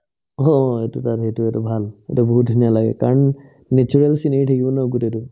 অ অ, সেইটো সেইটো বাৰু ভাল সেইটো বহুত ধুনীয়া লাগে কাৰণ natural scenery থাকিব ন গোটেইতো